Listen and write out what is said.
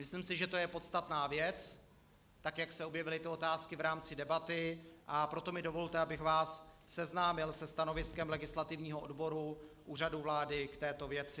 Myslím si, že to je podstatná věc, tak jak se objevily ty otázky v rámci debaty, a proto mi dovolte, abych vás seznámil se stanoviskem legislativního odboru Úřadu vlády k této věci.